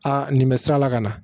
Aa nin bɛ sira la ka na